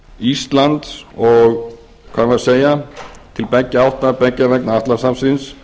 íslands og hvað eigum við að segja til beggja átta beggja vegna atlantshafsins